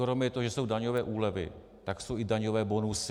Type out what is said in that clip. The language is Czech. Kromě toho, že jsou daňové úlevy, tak jsou i daňové bonusy.